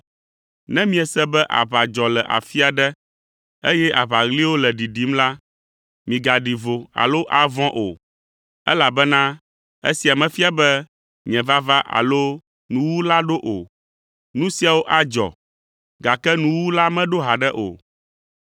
Ne miese be aʋa dzɔ le afi aɖe, eye aʋaɣliwo le ɖiɖim la, migaɖi vo alo avɔ̃ o, elabena esia mefia be nye vava alo nuwuwu la ɖo o. Nu siawo adzɔ, gake nuwuwu la meɖo haɖe o.